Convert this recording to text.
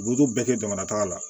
U bɛ t'o bɛɛ kɛ jamana taga la